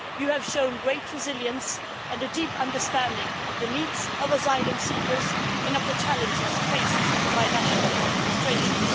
You have shown great resilience, Madam, and a deep understanding of the needs of asylum seekers and of the challenges faced by national administrations.